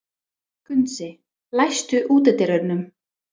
Gunnsi, læstu útidyrunum.